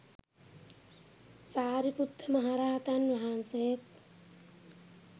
සාරිපුත්ත මහරහතන් වහන්සේත්